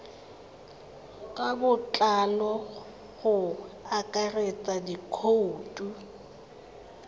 ka botlalo go akaretsa dikhoutu